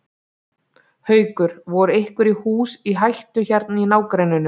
Haukur: Voru einhver hús í hættu hérna í nágrenninu?